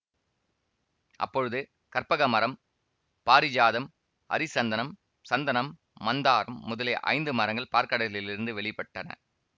அப்பொழுது கற்பக மரம் பாரிஜாதம் ஹரிசந்தனம் சந்தனம் மந்தாரம் முதலிய ஐந்து மரங்கள் பாற்கடலிலிருந்து வெளிப்பட்டன